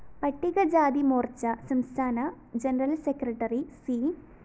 പട്ടികജാതിമോര്‍ച്ച സംസ്ഥാന general secretary C